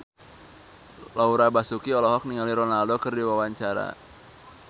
Laura Basuki olohok ningali Ronaldo keur diwawancara